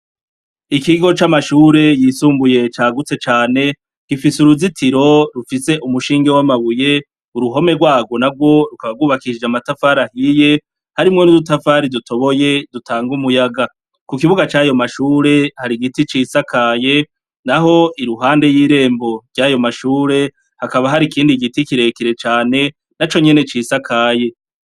Ikigo c'amashure yisumbuye cagutse cane gifise uruzitiro rufise umushinge w'amabuye, uruhome rwago na rwo rukaba rwubakishije amatafari ahiye harimwo n'udutafari dutoboye dutanga umuyaga, ku kibuga c'ayo mashure hari igiti cisakaye naho iruhande y'irembo ry'ayo mashure hakaba hari ikindi giti kirekire cane naco nyene cisakaye.